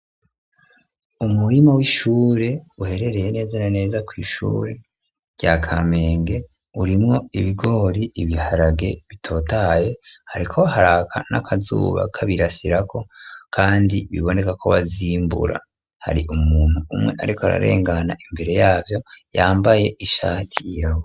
Umurima w'ishure uherereye neza neza kw'ishure rya kamenge urimwo ibigori ,ibiharage bitotaye, hariko haraka n'akazuba kabirasirako kandi bibonekako bazimbura hari ,umuntu umwe ariko ararengana imbere yawo yambaye ishati yirabura.